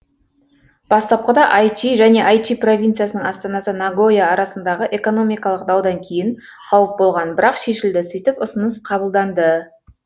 бастапқыда айчи және айчи провинциясының астанасы нагоя арасындағы экономикалық даудан кейін қауіп болған бірақ шешілді сөйтіп ұсыныныс қабылданды